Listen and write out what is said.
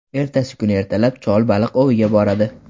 Ertasi kuni ertalab chol baliq oviga boradi.